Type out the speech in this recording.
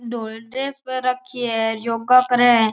धोली ड्रेस पहर राखी है योगा करे है।